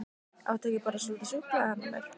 Áttu ekki bara svolítið súkkulaði handa mér?